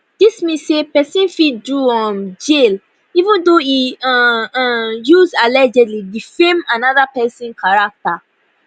dis mean say pesin fit do um jail even though e um um use allegedly defame anoda pesin character